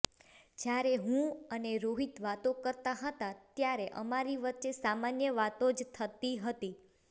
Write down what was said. જ્યારે હું અને રોહિત વાતો કરતાં હતાં ત્યારે અમારી વચ્ચે સામાન્ય વાતો જ થતી હતી